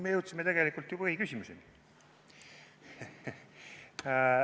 Me jõudsime tegelikult ju põhiküsimuseni.